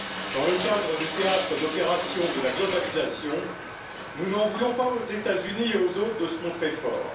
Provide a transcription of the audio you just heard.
Dans le théâtre d'opérations de la globalisation, nous n'en voulons pas aux États Unis et aux autres de se montrer forts.